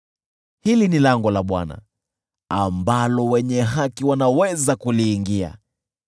Hili ni lango la Bwana ambalo wenye haki wanaweza kuliingia.